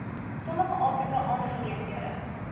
sommige afrika aangeleenthede